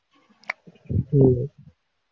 உம்